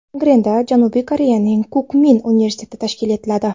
Angrenda Janubiy Koreyaning Kukmin universiteti tashkil etiladi.